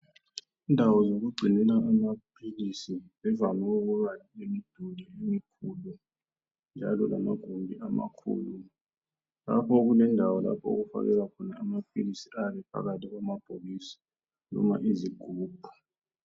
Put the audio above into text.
Indawo zokugcinela amaphilisi zivame ukubalemduli emkhulu njalo lamagumbi amakhu. Lapha kulendawo lapho okufakelwa khona amaphilisi ayabe ephakathi kwamabhokisi noma izigubhu.